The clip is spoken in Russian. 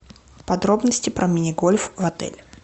подробности про мини гольф в отеле